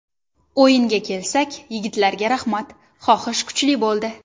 O‘yinga kelsak, yigitlarga rahmat, xohish kuchli bo‘ldi.